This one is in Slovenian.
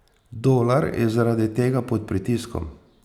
Dolar je zaradi tega pod pritiskom.